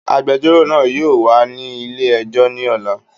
Agbẹjọ́rò náà yóò wà ní ilé ẹjọ́ ní ọ̀la